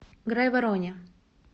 грайвороне